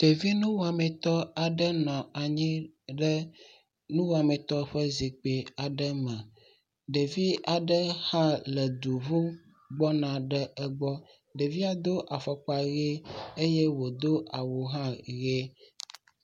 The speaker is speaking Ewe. Ɖevi nuwɔmeta aɖe nɔ anyi ɖe nuwɔametɔ ƒe zikpui aɖe me. Ɖevi aɖe hã le du ŋum gbɔna ɖe egbɔ. Ɖevia do afɔkpa ʋi eye wodo awu hã ʋi.